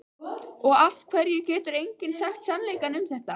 Og af hverju getur enginn sagt sannleikann um þetta?